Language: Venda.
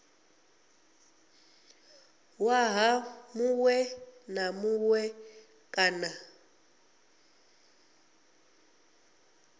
ṅwaha muṅwe na muṅwe kana